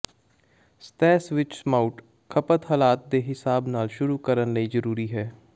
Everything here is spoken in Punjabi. ਸਤਹ ਸਵਿੱਚ ਮਾਊਟ ਖਪਤ ਹਾਲਾਤ ਦੇ ਹਿਸਾਬ ਨਾਲ ਸ਼ੁਰੂ ਕਰਨ ਲਈ ਜ਼ਰੂਰੀ ਹੈ